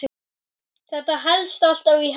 Þetta helst alltaf í hendur.